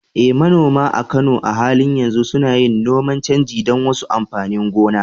Eh, manoma a Kano a halin yanzu suna yin noman canji don wasu amfanin gona.